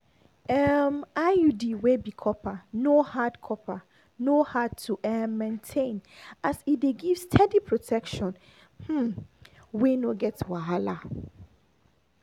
um iud wey be copper no hard copper no hard to um maintain as e dey give steady protection um wey no get wahala.